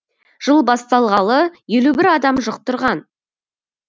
жыл басталғалы елу бір адам жұқтырған